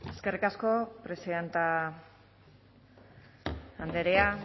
eskerrik asko presidente andrea